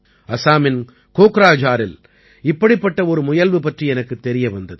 அஸாமின் கோக்ராஜாரில் இப்படிப்பட்ட ஒரு முயல்வு பற்றி எனக்குத் தெரிய வந்தது